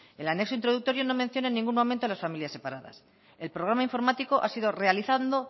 el anexo introductorio no menciona ningún momento a las familias separadas el programa informático ha sido realizado